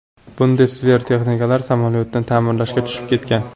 Bundesver texniklari samolyotni ta’mirlashga tushib ketgan.